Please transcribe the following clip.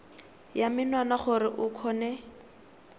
ya menwana gore o kgone